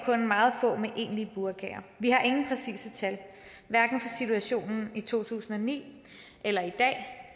kun meget få med burka vi har ingen præcise tal hverken for situationen i to tusind og ni eller i dag